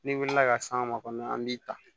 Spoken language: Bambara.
N'i wulila ka s'an ma kɔni an b'i ta